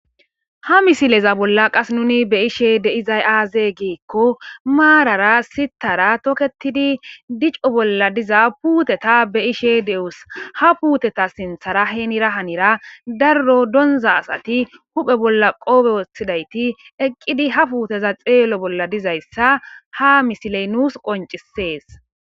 Ha misileza bolla qas nuni be ishe deizay aaze giikko maarara sitara toketidi dico bolla diza puuteta be ishe dewus ha puteta sinthara heenira hanira darro donza asati huphe bolla qodhe wothidayti eqqidi ha puuteza xeelo bolla dizayssa ha misiley nuus qoncisees